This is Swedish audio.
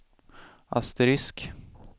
asterisk